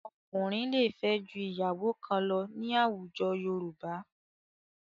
Ọkùnrin lè fẹ́ ju ìyàwó kan lọ ní àwùjọ Yorùbá.